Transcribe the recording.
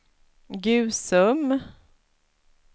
Gusum